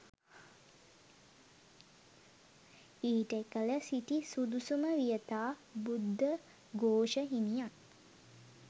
ඊට එකල සිටි සුදුසුම වියතා බුද්ධඝෝෂ හිමියන්